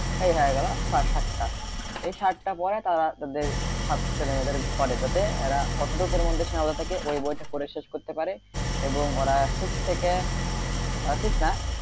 এই হয়ে গেলো সাতটা এই সাতটা বই তারা তাদের ছেলে মেয়েদের ঘরে যাতে এরা এতটুকু এর মধ্যে সীমাবদ্ধ থাকে ওই বইটা পড়ে শেষ করতে পারে এবং ওরা six থেকে six না,